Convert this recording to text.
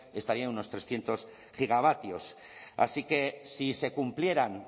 estaría en unos trescientos gigavatios así que si se cumpliera o